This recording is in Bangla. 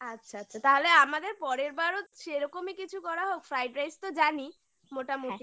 আচ্ছা আচ্ছা তাহলে আমাদের পরের বারও সেরকমই কিছু করা হোক Fried Rice তো জানি মোটামুটি